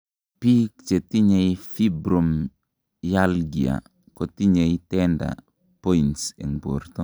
biik chetinyei fibromyalgia kotinyei tender points en borto